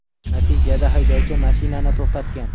Natijada haydovchi mashinani to‘xtatgan.